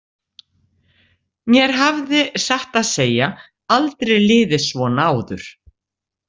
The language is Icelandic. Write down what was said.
Mér hafði, satt að segja, aldrei liðið svona áður.